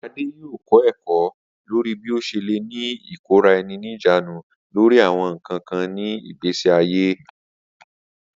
Ade yoo kọ ẹkọ lori bi o ṣe le ni ikora-ẹni-nijaanu lori awọn nkan kan ni igbesi aye.